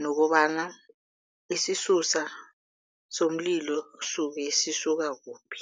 nokobana isisusa somlilo suke sisuka kuphi.